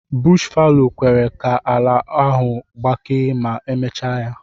Bush fallow kwere ka ala ahụ gbakee ma emechaa ya.